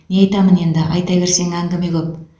не айтамын енді айта берсең әңгіме көп